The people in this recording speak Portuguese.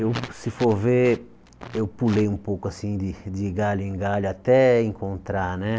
Eu, se for ver, eu pulei um pouco assim de de galho em galho até encontrar, né?